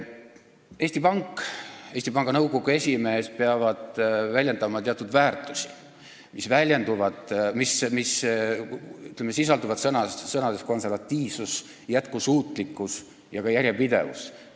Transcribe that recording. Eesti Pank ja Eesti Panga nõukogu esimees peavad väljendama teatud väärtusi, mis sisalduvad sõnades "konservatiivsus", "jätkusuutlikkus" ja ka "järjepidevus".